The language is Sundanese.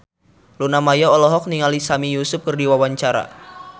Luna Maya olohok ningali Sami Yusuf keur diwawancara